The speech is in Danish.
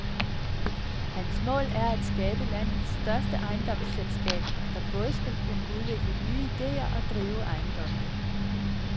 Hans mål er at skabe landets største ejendomsselskab, der både skal kunne udvikle nye ideer og drive ejendommene.